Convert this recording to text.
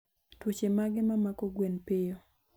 Tuoche mage ma mako gwen piyo